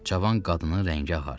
Cavan qadının rəngi ağardı.